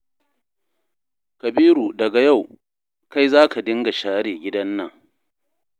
Kabiru daga yau, kai za ka dinga share gidan nan